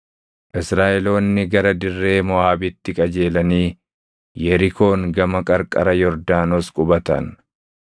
Israaʼeloonni gara dirree Moʼaabitti qajeelanii Yerikoon gama qarqara Yordaanos qubatan.